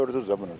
Görürsüz də bunu.